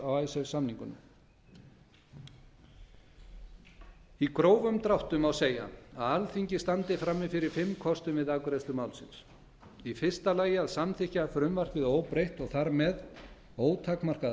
á icesave samningunum í grófum dráttum má segja að alþingi standi frammi fyrir fimm kostum við afgreiðslu málsins fyrstu samþykka frumvarpið óbreytt og þar með ótakmarkaða